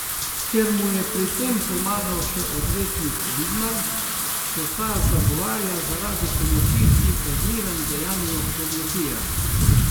Ker mu je pri tem pomagal še odvetnik Vidmar, se ta zagovarja zaradi pomoči pri kaznivem dejanju goljufije.